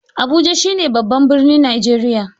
Abuja shi ne babban birnin Najeriya